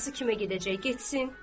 Anası kimə gedəcək, getsin.